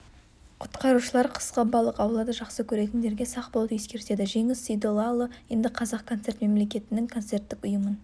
құтқарушылар қысқы балық аулауды жақсы көретіндерге сақ болуды ескертеді жеңіс сейдоллаұлы енді қазақ концерт мемлекеттік концерттік ұйымын